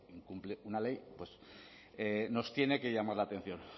incumple una ley pues nos tiene que llamar la atención